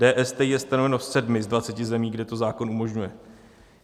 DSTI je stanoveno v 7 z 20 zemí, kde to zákon umožňuje.